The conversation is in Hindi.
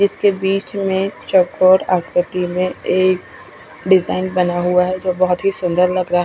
इसके बिच में एक चोकोर आक्रति में एक डिजाईन बना हुआ है जो बोहोत ही सुन्दर लग रहा है।